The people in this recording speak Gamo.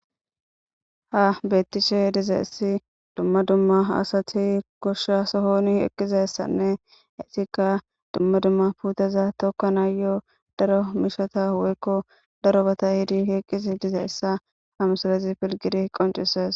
Ha beettishe dizaessi dumma dumma asati goshsha sohoni eqqizessanne heetikka dumma dumma puteza tokkanaa yoo daro mishata woykko daro bata hidi eqqiz dize essa hamusalezi pilgidi qoncisees.